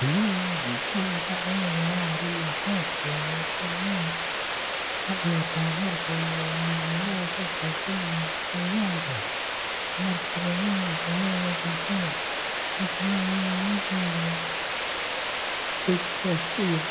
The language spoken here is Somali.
Loda bulshada dhexdeeda waa arrin aas aasi ah oo door weyn ka ciyaarta horumarka iyo midnimada dadka ku nool deegaankaas. Marka la leeyahay loda bulshada, waxaa loola jeedaa is kaashiga,